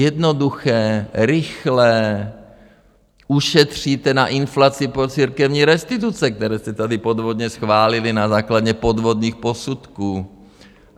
Jednoduché, rychlé, ušetříte na inflaci pro církevní restituce, které jste tady podvodně schválili na základě podvodných posudků.